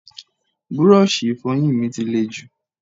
Búrọ́ọ̀ṣì Ìfọ̀yín mi ti lè jù